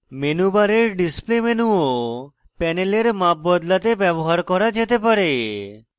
menu bar display menu of panel মাপ বদলাতে bar করা যেতে bar